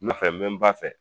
n bɛ n ba fɛ